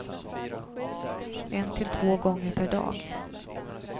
En till två gånger per dag.